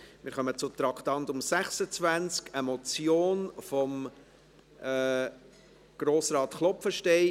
Wir kommen zum Traktandum 26, eine Motion von Grossrat Klopfenstein.